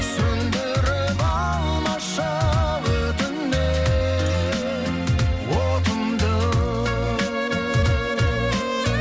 сөндіріп алмашы өтінем отымды